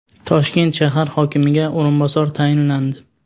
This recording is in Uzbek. Toshkent shahar hokimiga o‘rinbosar tayinlandi.